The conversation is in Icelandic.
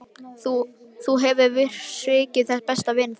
Þú hefur svikið besta vin þinn.